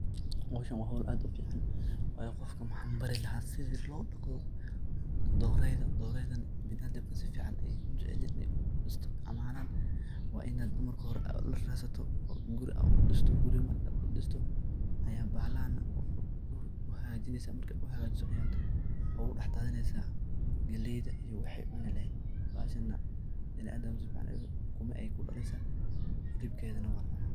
Howshan waa howl aad u fican, wayo qofka mahan bari lahaa sidhi lo daqoo dorayda , doraydan biniadamka si fican ayey u jecelyin iney u isticmalan , waa inaad marka hore dhul u radsato oo guri u dhisto guri markad u dhisto aya bahalan u haga jinesa ayaad ugu daxdadhinesa galeyda iyo waxey cuni laheyd , bahashana biniadamka si fican ayey u raban ukuma ayey ku daleysa ,hilibkedana wan cuna.